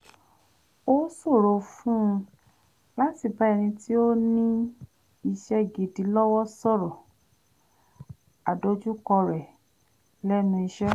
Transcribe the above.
ó ṣòro fún un láti bá ẹnì tí ó ní iṣẹ́ gidi lọ́wọ́ sọ̀rọ̀ àdojúkọ rẹ̀ lẹ́nu iṣé